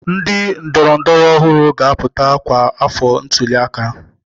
Ndị ndọrọndọrọ ọhụrụ ga-apụta kwa afọ ntuli aka.